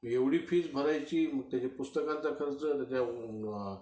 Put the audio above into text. एव्हढी fees भरायची, त्याच्या पुस्तकाचा खर्च, त्याच्या